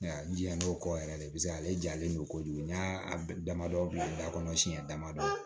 N jija n'o kɔ yɛrɛ de paseke ale jalen don kojugu n y'a damadɔ bila kɔnɔ siɲɛ damadɔ